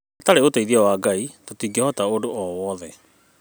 Hatarĩ ũteithio wa Ngai tũtingĩhota ũndũ o wothe